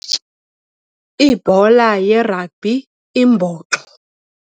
Ibhola yeragbhi imbhoxo.